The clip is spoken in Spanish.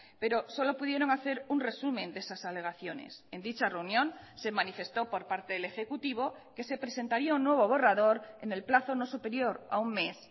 pero solo pudieron hacer un resumen de esas alegaciones en dicha reunión se manifestó por parte del ejecutivo que se presentaría un nuevo borrador en el plazo no superior a un mes